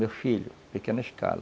Meu filho, pequena escala,